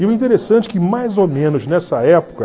E o interessante que mais ou menos nessa época